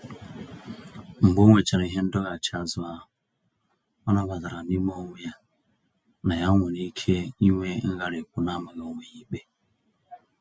Mgbe onwechara ihe ndọghachi azụ ahụ, ọ nabatara n'ime onwe ya na ya nwere ike ịnwe ngharipu namaghị onwe ya ikpe.